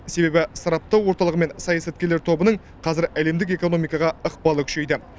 себебі сараптау орталығы мен саясаткерлер тобының қазір әлемдік экономикаға ықпалы күшейді